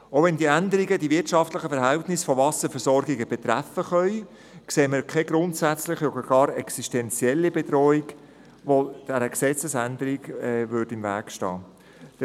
Auch wenn die Änderungen die wirtschaftlichen Verhältnisse von Wasserversorgungen betreffen können, sehen wir keine grundsätzliche oder sogar existenzielle Bedrohung, die dieser Gesetzesänderung im Wege stehen könnte.